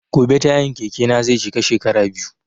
Gobe tayan keke na zai cika shekara biyu